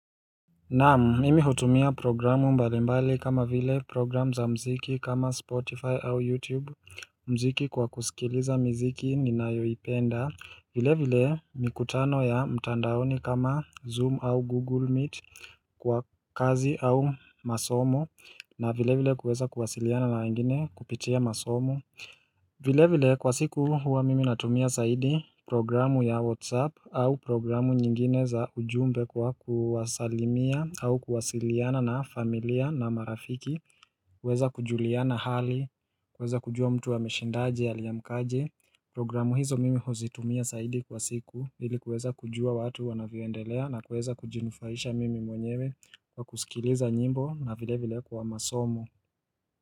Naam mimi hutumia programu mbalimbali kama vile program za mziki kama spotify au youtube mziki kwa kusikiliza mziki ni nayoipenda vile vile mikutano ya mtandaoni kama zoom au google meet Kwa kazi au masomo na vile vile kuweza kuwasiliana na wengine kupitia masomo vile vile kwa siku huwa mimi natumia saidi programu ya whatsapp au programu nyingine za ujumbe kwa kuwasalimia au kuwasiliana na familia na marafiki kuweza kujuliana hali kweza kujua mtu ameshindaje aliamkaje programu hizo mimi huzitumia saidi kwa siku hili kuweza kujua watu wanavyoendelea na kuweza kujinufaisha mimi mwenyewe kwa kusikiliza nyimbo na vile vile kwa masomo.